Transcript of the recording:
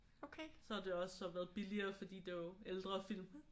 Så det har også så været billigere fordi det er jo ældre film